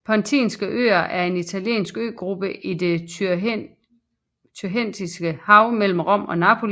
Pontinske øer er en italiensk øgruppe i det Tyrrhenske hav mellem Rom og Napoli